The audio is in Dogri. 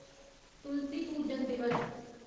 तुलसी पूजन दिवस